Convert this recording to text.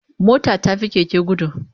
Mota ta fi Keke gudu